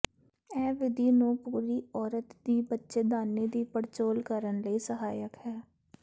ਇਹ ਵਿਧੀ ਨੂੰ ਪੂਰੀ ਔਰਤ ਦੀ ਬੱਚੇਦਾਨੀ ਦੀ ਪੜਚੋਲ ਕਰਨ ਲਈ ਸਹਾਇਕ ਹੈ